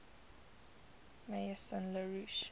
maison la roche